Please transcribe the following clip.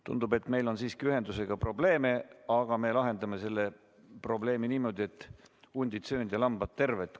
Tundub, et meil on siiski ühendusega probleem, aga me lahendame selle niimoodi, et hundid söönud ja lambad terved.